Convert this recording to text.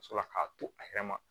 Ka sɔrɔ k'a to a yɛrɛ ma